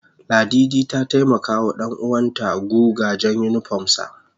Ladidi ta taimaka wa danuwan ta guga jan unipom sa